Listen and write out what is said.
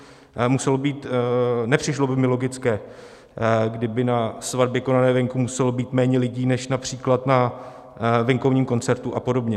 Nepřišlo by mi logické, kdyby na svatbě konané venku muselo být méně lidí než například na venkovním koncertu a podobně.